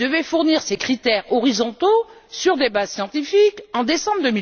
Elle devait fournir ses critères horizontaux sur des bases scientifiques en décembre